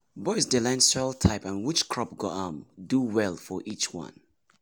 boys dey learn soil type and which crop go um do well for each one.